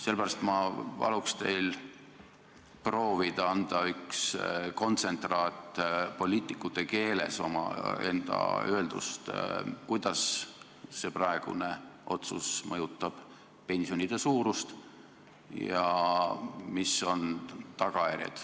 Sellepärast ma paluks teil proovida anda omaenda öeldust lihtsas poliitikute keeles üks n-ö kontsentraat ning rääkida, kuidas see praegune otsus mõjutab pensionide suurust ja mis on tagajärjed.